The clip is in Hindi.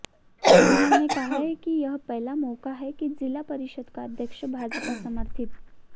उन्होंने कहा कि यह पहला मौका है कि जिला परिषद का अध्यक्ष भाजपा समर्थित